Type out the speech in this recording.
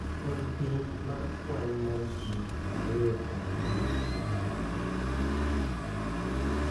Pod ni piny mar kwan mar ji ariyo kuom adek ma dwarore.